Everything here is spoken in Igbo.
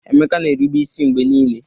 Emeka na-erube isi mgbe niile